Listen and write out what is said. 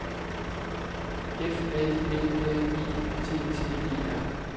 F A L L I T T E R